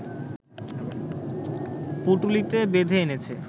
পুঁটুলিতে বেঁধে এনেছে